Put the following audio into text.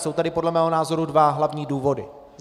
Jsou tady podle mého názoru dva hlavní důvody.